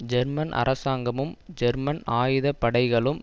German அரசாங்கமும் German ஆயுதப்படைகளும்